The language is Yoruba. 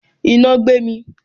Iná gbé mi